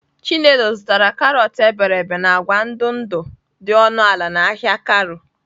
Chinelo zụtara karọt iberibe na agwa ndụ ndụ dị ọnụ ala n'ahịa Karu.